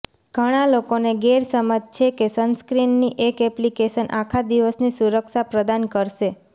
ઘણા લોકોને ગેરસમજ છે કે સનસ્ક્રીનની એક એપ્લિકેશન આખા દિવસની સુરક્ષા પ્રદાન કરશે